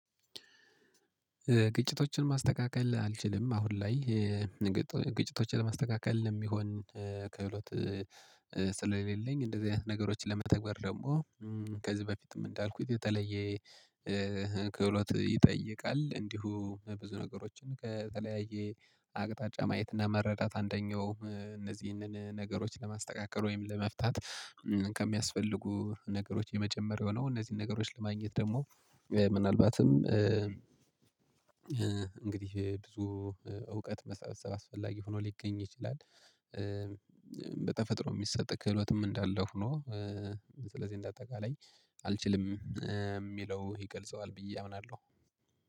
ግጭቶችን ማስተካከል አልችልም አሁን ላይ። ግጭቶችን ለማስተካከል የሚሆን ክህሎት ስለሌለኝ እንደዚህ አይነት ነገሮችን ለመተግበር ደግሞ ከዚህ በፊትም እንዳልኩት የተለየ ክህሎት ይጠይቃል። እንዲሁ ብዙ ነገሮችን ከተለያየ አቅጣጫ ማየት እና መረዳት አንደኛው እነዚህን ነገሮች ለማስተካከል ወይም ለመፍታት። ነገሮች የመጀመሪያው የሆነው እነዚህን ነገሮች ለማግኘት ደግሞ ምናልባትም እንግዲህ ብዙ እውቀት መሰብሰብ አስፈላጊ ሆኖ ሊገኝ ይችላል። በተፈጥሮ የሚሰጥ ክህሎትም እንዳለው ሆኖ ስለዚህ እንደ አጠቃላይ አልችልም የሚለው ይገልጸዋል ብዬ አምናለሁ